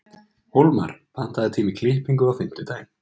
Hólmar, pantaðu tíma í klippingu á fimmtudaginn.